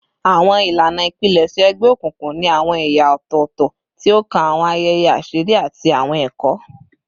Awọn ilana ipilẹṣẹ egbeokunkun ni awọn ẹya ọtọtọ ti o kan awọn ayẹyẹ aṣiri ati awọn ẹkọ